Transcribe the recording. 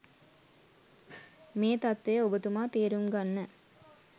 මේ තත්ත්වය ඔබතුමා තේරුම් ගන්න.